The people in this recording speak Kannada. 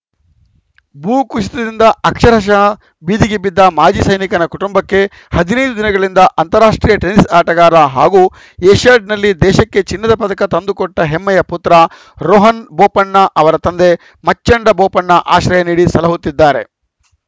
ಭೂಕುಸಿತದಿಂದ ಅಕ್ಷರಶಃ ಬೀದಿಗೆ ಬಿದ್ದ ಮಾಜಿ ಸೈನಿಕನ ಕುಟುಂಬಕ್ಕೆ ಹದಿನೈದು ದಿನಗಳಿಂದ ಅಂತಾರಾಷ್ಟ್ರೀಯ ಟೆನಿಸ್‌ ಆಟಗಾರ ಹಾಗೂ ಏಷ್ಯಾಡ್‌ನಲ್ಲಿ ದೇಶಕ್ಕೆ ಚಿನ್ನದ ಪದಕ ತಂದುಕೊಟ್ಟಹೆಮ್ಮಯ ಪುತ್ರ ರೋಹನ್‌ ಬೋಪಣ್ಣ ಅವರ ತಂದೆ ಮಚ್ಚಂಡ ಬೋಪಣ್ಣ ಆಶ್ರಯ ನೀಡಿ ಸಲಹುತ್ತಿದ್ದಾರೆ